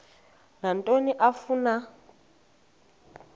nantoni na afuna